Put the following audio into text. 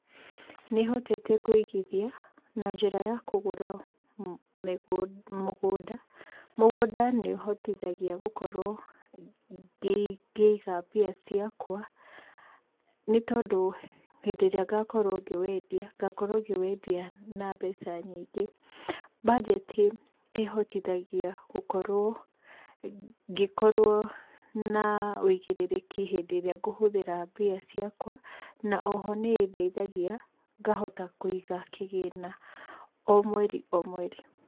Nĩ hotete kũigithia na njĩra ya kũgũra mũgũnda. Mũgũnda nĩ ũhotithagia gũkorwo ngĩiga mbia ciakwa, nĩ tondũ hĩndĩ ĩrĩa ngakorwo ngĩwendia, ngakorwo ngĩwendia na mbeca nyingĩ. Banjeti ĩhotithagia gũkorwo, ngĩkorwo na ũigĩrĩriki hĩndĩ ĩrĩa ngĩhũthĩra mbia ciakwa, na oho nĩ ĩndeithagia ngahota kũiga kĩgĩna o mweri o mweri.